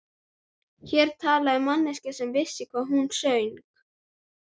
Hér talaði manneskja sem vissi hvað hún söng.